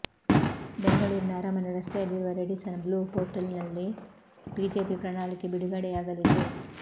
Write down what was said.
ಬೆಂಗಳೂರಿನ ಅರಮನೆ ರಸ್ತೆಯಲ್ಲಿರುವ ರೆಡಿಸನ್ ಬ್ಲೂ ಹೋಟೆಲ್ನಲ್ಲಿ ಬಿಜೆಪಿ ಪ್ರಣಾಳಿಕೆ ಬಿಡುಗಡೆಯಾಗಲಿದೆ